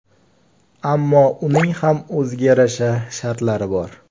Ammo uning ham o‘ziga yarasha shartlari bor.